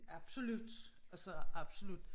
Absolut altså absolut